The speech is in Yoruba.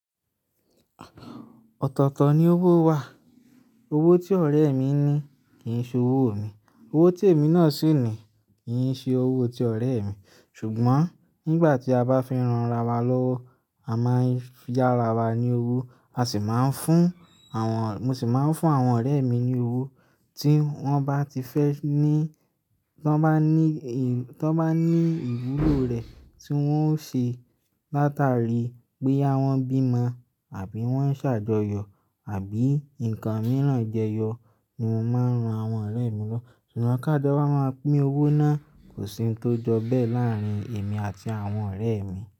Ọ̀tọ̀ọ̀tọ̀ ni owó wà. Owó tí ọ̀rẹ́ mi ní kì í ṣe owó mi, owó tí èmi náà sì ní kì í ṣe owó tí ọ̀rẹ́ mi. Ṣùgbọ́n nígbà tí a bá fẹ́ ran ara wa lọ́wọ́, a máa yára wa ní owó, a sì máa ń fún àwọn-- mo sì máa ń fún àwọn ọ̀rẹ́ mi ní owó tí wọ́n bá ti fẹ́ ní, tí wọ́n bá ní, tí wọ́n bá ní ìwúlò rẹ̀ tí wọ́n ó ṣe. Láta rí, pé á wọ́n bímọ àbí wọ́n ń ṣàjọyọ̀, àbí nǹkan mìíràn jẹyọ ni mo máa ń ran àwọn ọ̀rẹ́ mi lọ́wọ́. Ṣùgbọ́n ká jọ wá máa pín owó náà, kò sí ohun tó jọ bẹ́ẹ̀ láàrín èmi àti àwọn ọ̀rẹ́ mi.